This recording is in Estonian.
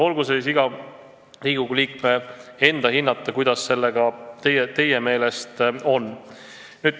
Olgu see aga iga Riigikogu liikme enda hinnata, kuidas sellega on.